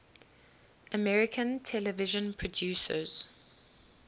american television producers